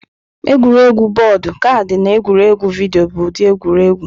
Egwuregwu bọọdụ, kaadị, na egwuregwu vidio bụ ụdị egwuregwu.